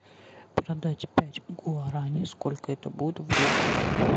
продать пять гуараней сколько это будет в долларах